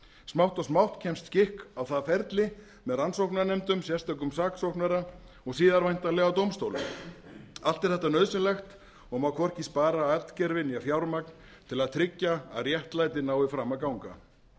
smátt og smátt kemst skikk á það ferli með rannsóknarnefndum sérstökum saksóknara og síðar væntanlega dómstólum allt er þetta nauðsynlegt og má hvorki spara atgervi né fjármagn til að tryggja að réttlætið nái fram að ganga